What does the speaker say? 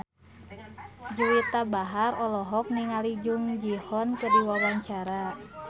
Juwita Bahar olohok ningali Jung Ji Hoon keur diwawancara